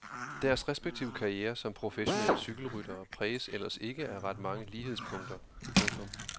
Deres respektive karrierer som professionelle cykelryttere præges ellers ikke af ret mange lighedspunkter. punktum